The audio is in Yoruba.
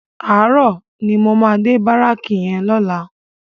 Àárò ni mó má dé báráki yèn lòlá